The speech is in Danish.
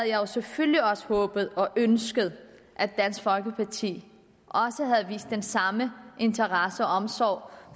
jo selvfølgelig også håbet og ønsket at dansk folkeparti havde vist den samme interesse og omsorg